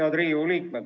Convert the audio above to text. Head Riigikogu liikmed!